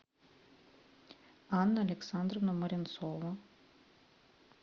анна александровна моренцова